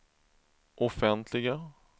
offentliga